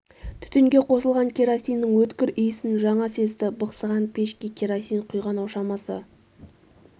түтінге қосылған керосиннің өткір иісін жаңа сезді бықсыған пешке керосин құйған-ау шамасы